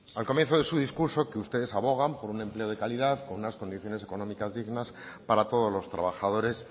al comienzo de su discurso que ustedes abogan por un empleo de calidad con unas condiciones económicas dignas para todos los trabajadores